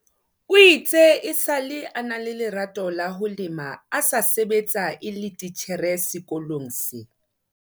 O itse esale a ena le lerato la ho lema a sa sebetsa e le titjhere sekolong se.